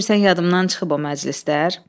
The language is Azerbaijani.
Elə bilirsən yadımdan çıxıb o məclislər?